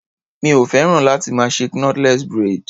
Mi o féràn láti máa ṣe knotless braid.